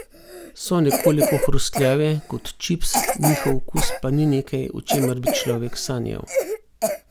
So nekoliko hrustljave, kot čips, njihov okus pa ni nekaj, o čemer bi človek sanjal.